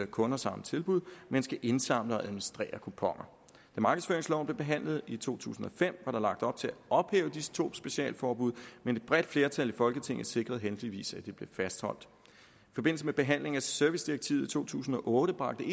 kunder samme tilbud men skal indsamle og administrere kuponerne da markedsføringsloven blev behandlet i to tusind og fem var der lagt op til at ophæve disse to specialforbud men et bredt flertal i folketinget sikrede heldigvis at de blev fastholdt i forbindelse med behandlingen af servicedirektivet i to tusind og otte bragte